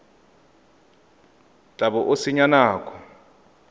tla bo o senya nako